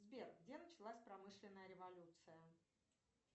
сбер где началась промышленная революция